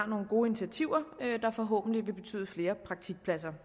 nogle gode initiativer der forhåbentlig vil betyde flere praktikpladser